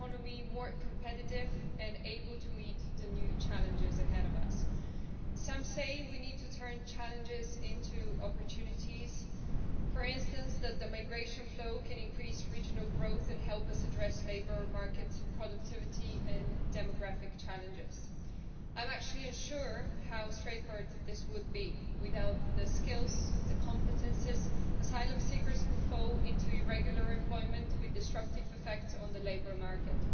It is about how to make our economy more competitive and able to meet the new challenges ahead of us. Some say we need to turn challenges into opportunities for instance that the migration flow can increase regional growth and help us address labour market productivity and demographic challenges. I am actually unsure how straightforward this would be without the skills and competences, asylum seekers could fall into irregular employment, with disruptive effects on the labour market.